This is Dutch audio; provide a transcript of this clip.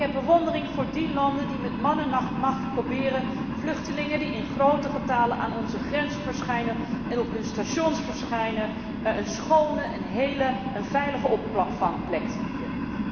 Ik heb bewondering voor die landen die met man en macht proberen vluchtelingen die in groten getale aan onze grenzen verschijnen en op hun stations verschijnen een schone, een hele, een veilige opvangplek te bieden.